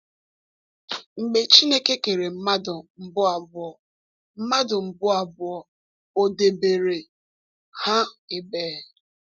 Mgbe Chineke kere mmadụ mbụ abụọ, mmadụ mbụ abụọ, o debere ha ebee?